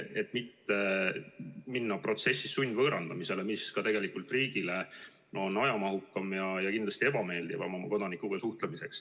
See on lubatud, et protsessis ei mindaks sundvõõrandamisele, mis riigile on tegelikult ajamahukam ja kindlasti ebameeldivam viis oma kodanikega suhelda.